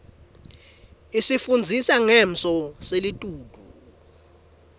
isifundzisa ngesmo selitulu